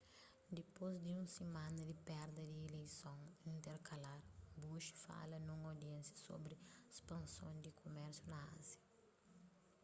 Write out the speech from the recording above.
dipôs di un simana di perda di ileison interkalar bush fala nun audiénsia sobri spanson di kumérsiu na ázia